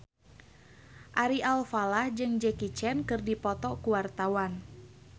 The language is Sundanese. Ari Alfalah jeung Jackie Chan keur dipoto ku wartawan